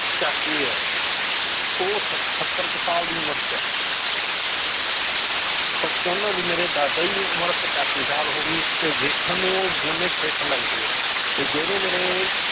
ਚਾਚੇ ਹੈ ਉਹ ਸੱਤ~ ਸੱਤਰ ਕੁ ਸਾਲ ਦੀ ਉਮਰ 'ਚ ਹੈ ਪਰ ਉਹਨਾਂ ਦੀ ਮੇਰੇ ਦਾਦਾ ਜੀ ਦੀ ਉਮਰ ਪਚਾਸੀ ਸਾਲ ਹੋ ਗਈ ਤੇ ਵੇਖਣ ਨੂੰ ਉਹ ਦੋਨੇ fit ਲੱਗਦੇ ਹੈ ਤੇ ਜਿਹੜੇ ਮੇਰੇ